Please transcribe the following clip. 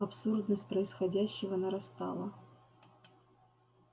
абсурдность происходящего нарастала